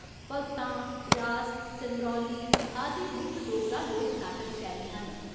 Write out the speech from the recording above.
भगतां, रास, चंद्रौली आदि मुक्ख डोगरा लोक नाटक शैलियां न।